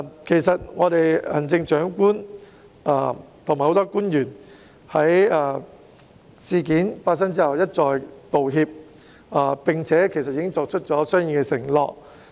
其實行政長官和很多官員在事件發生後一再道歉，並已作出相應的承諾。